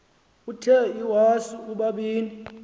uthe iwasu ubabini